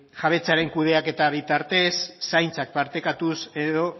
jabetzaren kudeaketaren bitartez zaintzak partekatuz edo